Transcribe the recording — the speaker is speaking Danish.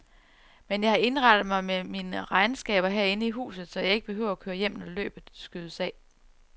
Men jeg har indrettet mig med mine regnskaber herinde i huset, så jeg ikke behøver at køre hjem, når løbet skydes af.